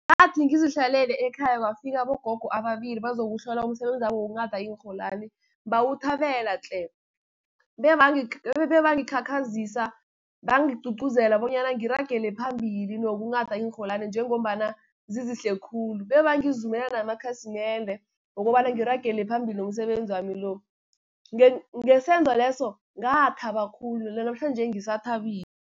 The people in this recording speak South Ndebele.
Ngathi sizihlalele ekhaya kwafika abogogo ababili bazokuhlola umsebenzabo wokunghada iinrholwani, bawuthabela tle! Bebangikhakhazisa, bangigcugcuzela bonyana ngiragela phambili nokunghada iinrholwani njengombana zizihle khulu. Bebangizumela namakhasimende wokobana ngiragele phambili nomsebenzi wami lo. Ngesenzo leso, ngathaba khulu nanamhlanje ngisathabile.